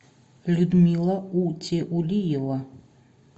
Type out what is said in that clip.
людмила утиулиева